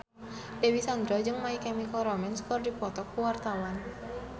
Dewi Sandra jeung My Chemical Romance keur dipoto ku wartawan